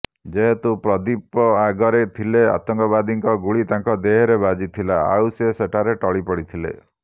ଯେହେତୁ ପ୍ରଦୀପ ଆଗରେ ଥିଲେ ଆତଙ୍କବାଦୀଙ୍କ ଗୁଳି ତାଙ୍କ ଦେହରେ ବାଜିଥିଲା ଆଉ ସେ ସେଠାରେ ଟଳି ପଡିଥିଲେ